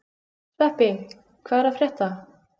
Sveppi, hvað er að frétta?